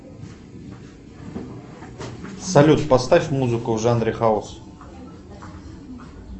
салют поставь музыку в жанре хаус